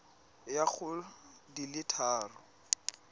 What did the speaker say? ya go di le thataro